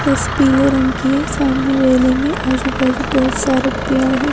बस पीले रंग की है सामने रेलिंग है आजू-बाजू बहुत सारे पेड़ हैं।